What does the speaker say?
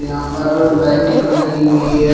यहां पर लाइटिंग भी लगी हुई है।